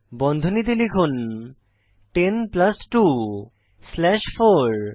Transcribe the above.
বন্ধনীতে লিখুন 10 plus 2 slash 4